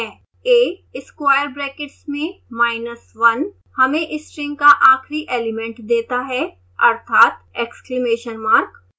a square brackets में minus one हमें string का आखिरी एलिमेंट देता है अर्थात exclamation mark